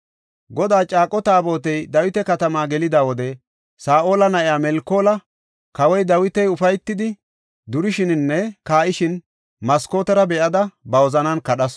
Godaa caaqo Taabotey Dawita katamaa gelida wode Saa7ola na7iya Melkoola kawoy Dawiti ufaytidi durishininne kaa7ishin maskootera be7ada ba wozanan kadhasu.